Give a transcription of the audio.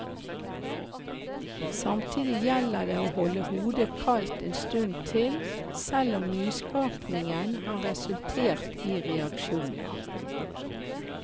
Samtidig gjelder det å holde hodet kaldt en stund til, selv om nyskapningen har resultert i reaksjoner.